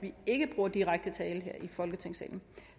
vi ikke bruger direkte tale her i folketingssalen